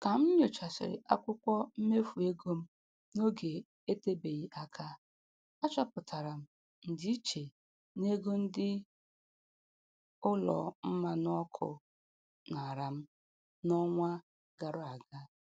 Ka m nyochasịrị akwụkwọ mmefu ego m n'oge etebeghị aka, achọpụtara m ndịiche n'ego ndị ụlọ mmanụ ọkụ nara m n'ọnwa gara aga.